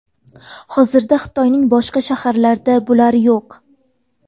Hozirda Xitoyning boshqa shaharlarda bular yo‘q.